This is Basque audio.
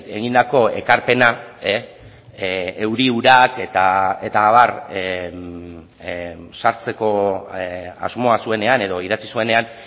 egindako ekarpena euri urak eta abar sartzeko asmoa zuenean edo idatzi zuenean